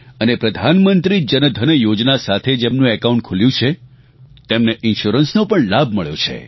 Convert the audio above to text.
અને પ્રધાનમંત્રી જનધન યોજના સાથે જેમનું એકાઉન્ટ ખુલ્યું છે તેમને ઇન્શ્યોરન્સનો પણ લાભ મળ્યો છે